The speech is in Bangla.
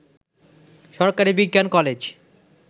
সরকারী বিজ্ঞান কলেজ